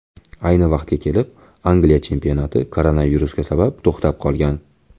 Ayni vaqtga kelib Angliya chempionati koronavirus sabab to‘xtab qolgan.